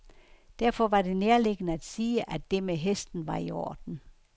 Derfor var det nærliggende at sige, at det med hesten var i orden.